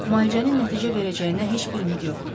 Müalicənin nəticə verəcəyinə heç bir ümid yoxdur.